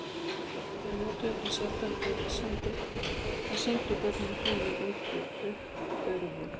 Þeir notuðu því sjaldan röksemdir eða sýndu börnunum hlýju og uppörvun.